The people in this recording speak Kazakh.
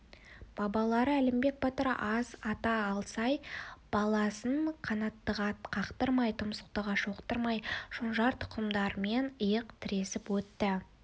бабалары әлімбек батыр аз ата алсай баласын қанаттыға қақтырмай тұмсықтыға шоқыттырмай шонжар тұқымдармен иық тіресіп өтті